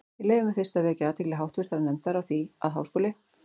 Ég leyfi mér fyrst að vekja athygli háttvirtrar nefndar á því, að Háskóli